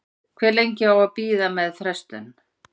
Hve lengi á að bíða með frestun?